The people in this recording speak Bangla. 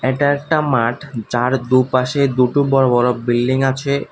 এটা একটা মাঠ যার দুপাশে দুটো বড় বড় বিল্ডিং আছে।